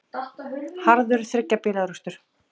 Harður þriggja bíla árekstur